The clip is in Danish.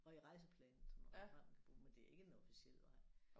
Og i Rejseplanen som en vej man kan bruge men det er ikke en officiel vej